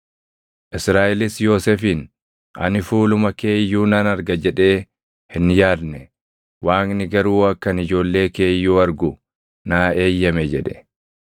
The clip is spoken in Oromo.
Israaʼelis Yoosefiin, “Ani fuuluma kee iyyuu nan arga jedhee hin yaadne; Waaqni garuu akka ani ijoollee kee iyyuu argu naa eeyyame” jedhe.